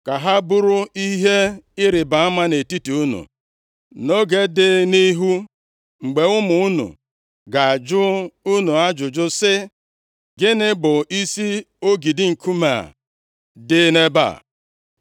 ka ha bụrụ ihe ịrịbama nʼetiti unu. Nʼoge dị nʼihu, mgbe ụmụ unu ga-ajụ unu ajụjụ sị, ‘Gịnị bụ isi ogidi nkume a dị nʼebe a?’